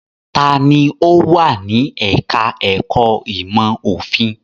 Ta ni ó wà ní ẹ̀ka-ẹ̀kọ́ ìmọ̀-òfin?